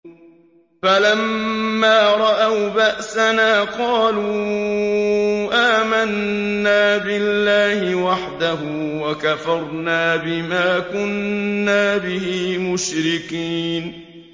فَلَمَّا رَأَوْا بَأْسَنَا قَالُوا آمَنَّا بِاللَّهِ وَحْدَهُ وَكَفَرْنَا بِمَا كُنَّا بِهِ مُشْرِكِينَ